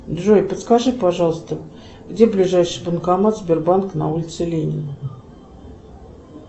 джой подскажи пожалуйста где ближайший банкомат сбербанка на улице ленина